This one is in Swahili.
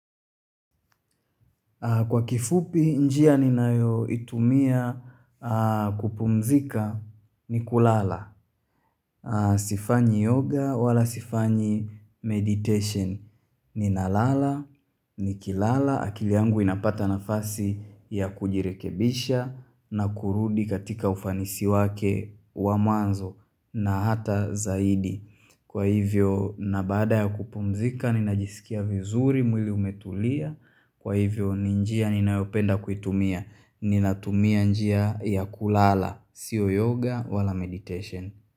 Kwa kifupi, njia ninayoitumia kupumzika ni kulala. Sifanyi yoga wala sifanyi meditation ni nalala, nikilala. Akili yangu inapata nafasi ya kujirekebisha na kurudi katika ufanisi wake wa mwanzo na hata zaidi. Kwa hivyo, na baada ya kupumzika, ninajisikia vizuri mwili umetulia. Kwa hivyo ni njia ninayopenda kuitumia Ninatumia njia ya kulala Sio yoga wala meditation.